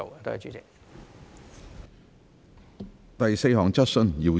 第四項質詢。